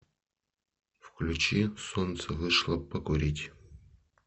включи солнце вышло покурить